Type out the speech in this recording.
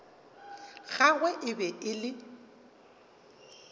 gagwe e be e le